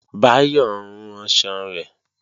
Báyọ̀ ń ranṣan rẹ̀